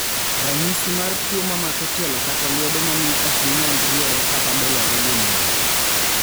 ranyisi mar tuo mamako tielo kata lwedo mamiyo okginyal riere kata dolore gin mage